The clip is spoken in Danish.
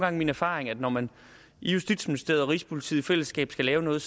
er min erfaring at når man i justitsministeriet og rigspolitiet i fællesskab skal lave noget